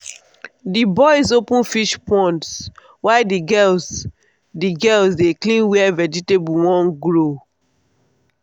the boys open fish ponds while the girls the girls dey clean where vegetable won grow.